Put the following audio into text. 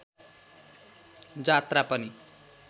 जात्रा पनि